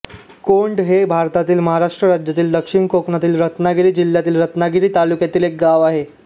कोंड हे भारतातील महाराष्ट्र राज्यातील दक्षिण कोकणातील रत्नागिरी जिल्ह्यातील रत्नागिरी तालुक्यातील एक गाव आहे